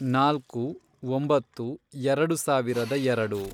ನಾಲ್ಕು, ಒಂಬತ್ತು, ಎರೆಡು ಸಾವಿರದ ಎರೆಡು